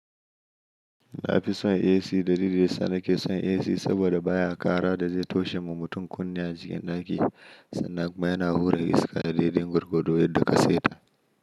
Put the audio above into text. Nafi son AC dalilin da yasa nake son AC saboda baya ƙara da zai toshe ma mutum kunne a cikin ɗaki sannan kuma yana hura iska daidai gwargwado yadda ka seta.